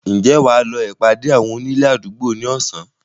Ǹjẹ́ Wà lọ ìpàdé àwọn onílé àdúgbò ni Ọ̀sán?